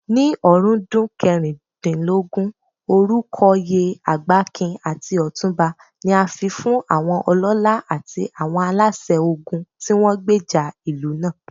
Ní ọ̀rúndún kẹrìndínlógún, orúkọoyè Agbakin àti Otunba ni a fifún àwọn ọlọ́lá àti àwọn aláṣẹ ogun tíwọ́n gbèjà ìlú náà.